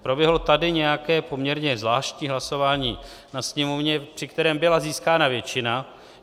Proběhlo tady nějaké poměrně zvláštní hlasování ve Sněmovně, při kterém byla získána většina.